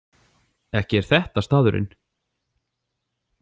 Ekki er þetta staðurinn?